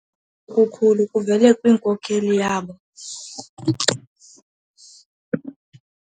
Okukhulu kuvele kwinkokeli yabo.